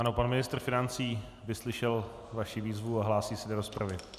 Ano, pan ministr financí vyslyšel vaší výzvu a hlásí se do rozpravy.